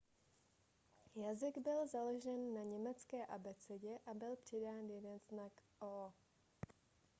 jazyk byl založen na německé abecedě a byl přidán jeden znak õ/õ